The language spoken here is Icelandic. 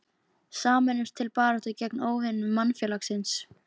Sameinumst til baráttu gegn óvinum mannfélagsins.